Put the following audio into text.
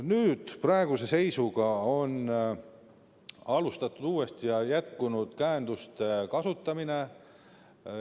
Nüüd, praeguse seisuga on alustatud uuesti ja on jätkunud käenduste kasutamine.